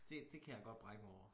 Det det kan jeg godt brække mig over